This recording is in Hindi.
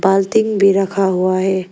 बाल्टी भी रखा हुआ है।